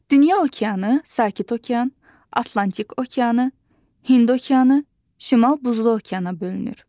Dünya okeanı Sakit okean, Atlantik okeanı, Hind okeanı, Şimal Buzlu okeana bölünür.